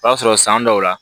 O b'a sɔrɔ san dɔw la